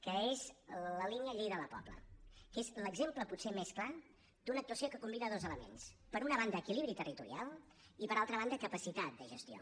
que és la línia lleida la pobla que és l’exemple potser més clar d’una actuació que combina dos elements per una banda equilibri territorial i per altra banda capacitat de gestió